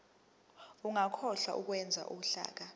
ungakhohlwa ukwenza uhlaka